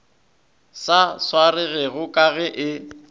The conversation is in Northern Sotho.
sa swaregego ka ge e